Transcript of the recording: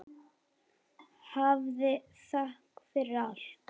Hafðu þökk fyrir allt.